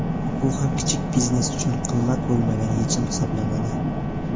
Bu ham kichik biznes uchun qimmat bo‘lmagan yechim hisoblanadi.